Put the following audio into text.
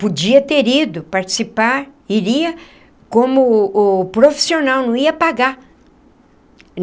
Podia ter ido participar, iria como o profissional, não ia pagar.